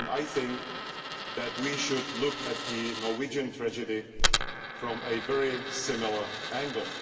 I think that we should look at the Norwegian tragedy from a very similar angle.